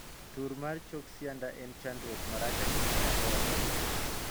Tur mar chok sianda en chandruok marach ahinya kaka wamedo tii.